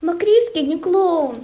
но криске не клоун